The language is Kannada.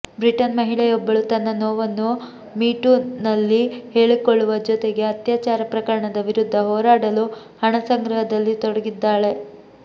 ಬ್ರಿಟನ್ ಮಹಿಳೆಯೊಬ್ಬಳು ತನ್ನ ನೋವನ್ನು ಮಿ ಟೂನಲ್ಲಿ ಹೇಳಿಕೊಳ್ಳುವ ಜೊತೆಗೆ ಅತ್ಯಾಚಾರ ಪ್ರಕರಣದ ವಿರುದ್ಧ ಹೋರಾಡಲು ಹಣ ಸಂಗ್ರಹದಲ್ಲಿ ತೊಡಗಿದ್ದಾಳೆ